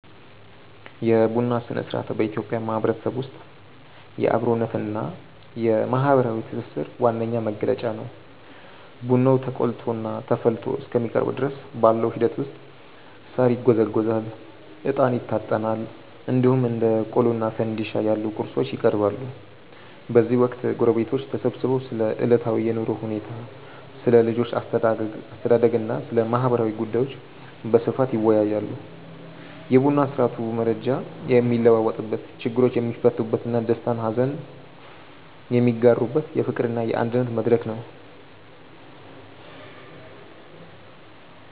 የቡና ሥነ-ሥርዓት በኢትዮጵያ ማህበረሰብ ውስጥ የአብሮነትና የማህበራዊ ትስስር ዋነኛ መገለጫ ነው። ቡናው ተቆልቶና ተፈልቶ እስከሚቀርብ ድረስ ባለው ሂደት ውስጥ ሳር ይጎዘጎዛል፣ እጣን ይታጠናል፣ እንዲሁም እንደ ቆሎና ፋንድሻ ያሉ ቁርሶች ይቀርባሉ። በዚህ ወቅት ጎረቤቶች ተሰብስበው ስለ ዕለታዊ የኑሮ ሁኔታ፣ ስለ ልጆች አስተዳደግና ስለ ማህበራዊ ጉዳዮች በስፋት ይወያያሉ። የቡና ስርአቱ መረጃ የሚለዋወጥበት፣ ችግሮች የሚፈቱበትና ደስታና ሀዘን የሚጋሩበት የፍቅርና የአንድነት መድረክ ነው።